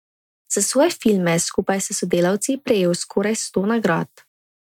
Za svoje filme je skupaj s sodelavci prejel skoraj sto nagrad.